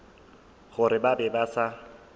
gore ba be ba sa